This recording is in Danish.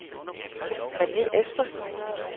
Rene Espersen